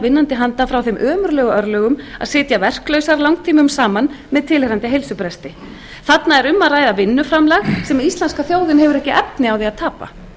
vinnandi handa frá þeim ömurlegu örlögum að sitja verklausar langtímum saman með tilheyrandi heilsubresti þarna er um að ræða vinnuframlag sem íslenska þjóðin hefur ekki efni á því að tapa